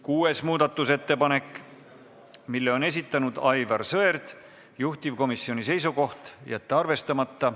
Kuues muudatusettepanek, mille on esitanud Aivar Sõerd, juhtivkomisjoni seisukoht: jätta arvestamata.